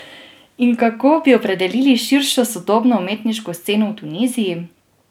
In kako bi opredelili širšo sodobno umetniško sceno v Tuniziji?